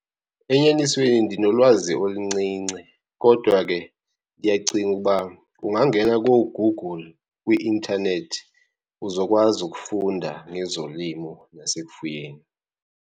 Enyanisweni ndinolwazi oluncinci, kodwa ke ndiyacinga uba ungangena kooGoogle kwi-intanethi, uzokwazi ukufunda ngezolimo nasekufuyeni.